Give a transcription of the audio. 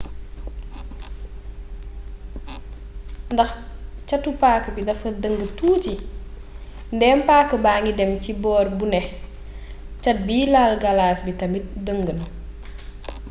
ndax catu paaka bi dafa dëng tuuti ndéem paaka baangi dém ci boor bu né cat biy laal galas bi tamit dëng na